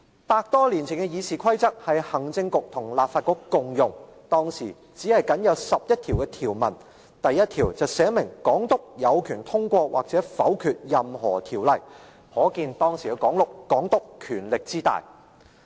百多年前的議事規則是行政局與立法局共用，當時僅有11項條文，第1條訂明港督有權通過或否決任何條例，可見當時的港督權力之大。